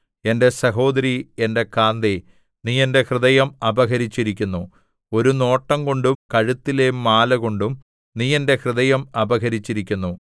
എന്റെ സഹോദരീ എന്റെ കാന്തേ നീ എന്റെ ഹൃദയം അപഹരിച്ചിരിക്കുന്നു ഒരു നോട്ടംകൊണ്ടും കഴുത്തിലെ മാല കൊണ്ടും നീ എന്റെ ഹൃദയം അപഹരിച്ചിരിക്കുന്നു